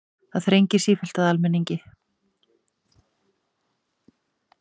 Það þrengir sífellt að almenningi